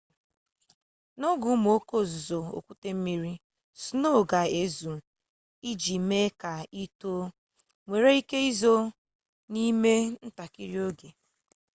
n'oge ụmụ oke ozuzo okwute mmiri sinoo ga-ezu iji mee ka ị tọọ nwere ike izo n'ime ntakịrị oge